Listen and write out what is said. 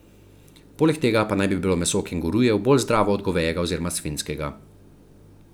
Poleg tega pa naj bi bilo meso kengurujev bolj zdravo od govejega oziroma svinjskega.